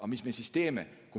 Aga mida me siis teeme?